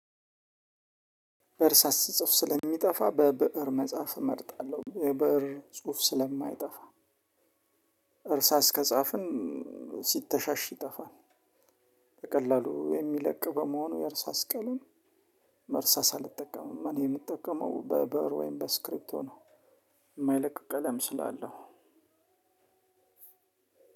በእርሳስ ስጽፍ ስለሚጠፋ በብእር መጻፍ እመርጣለሁ የብእር ስጽፍ ስለማይጠፋ። በእርሳስ ከጻፍኩኝ ሲተሻሽ ይጠፋል። በቀላሉ የሚለቅ በመሆኑ የእርሳስ ቀለም እርሳስ አልጠቀምም። እኔ የምጠቀመው በብእር ወይም በስክሪፕቶ ነው። የማይለቅ ቀለም ስላለው